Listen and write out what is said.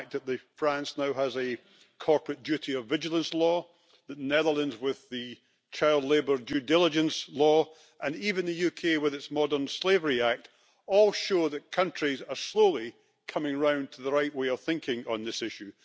The fact that France now has a corporate duty of vigilance law, the Netherlands has the Child Labour Due Diligence Law, and even the UK with its Modern Slavery Act, all show that countries are slowly coming round to the right way of thinking on this issue.